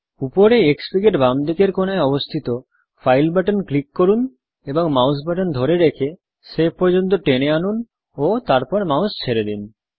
উপরে Xfig এর বাম দিকের কোণায় অবস্থিত ফাইল বাটন ক্লিক করুন এবং মাউস বাটন ধরে রেখে সেভ পর্যন্ত টেনে আনুন ও তারপর মাউস ছেড়ে দিন